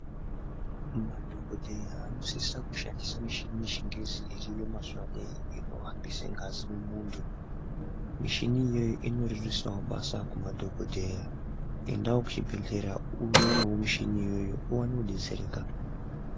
Madhokodheya anosisa kushandisa mishini yechingezi iriyo mazuwa aneiyi inohambise ngazi mumuntu. Mishini iyoyo inorerusawo basa kumadhokodheya. Endawo kuchibhedhlera uonewo michini iyoyo uwane kudetsereka.